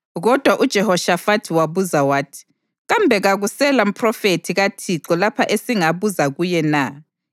Kodwa uJehoshafathi wabuza wathi, “Kambe kakusela mphrofethi kaThixo lapha esingabuza kuye na?”